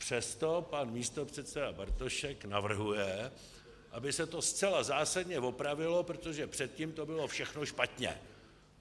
Přesto pan místopředseda Bartošek navrhuje, aby se to zcela zásadně opravilo, protože předtím to bylo všechno špatně.